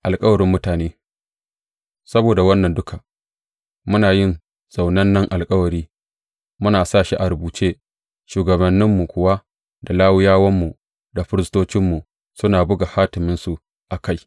Alkawarin mutane Saboda wannan duka, muna yin zaunannen alkawari, muna sa shi a rubuce, shugabanninmu kuwa da Lawiyawanmu, da firistocinmu suna buga hatimansu a kai.